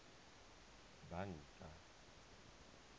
banka